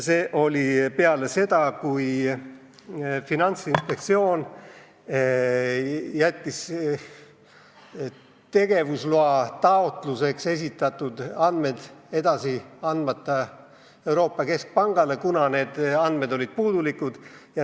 See oli peale seda, kui Finantsinspektsioon jättis tegevusloataotluse andmed edasi saatmata Euroopa Keskpangale, kuna need andmed olid puudulikud.